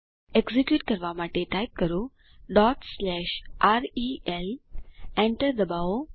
execute કરવા માટે type કરો rel Enter ડબાઓ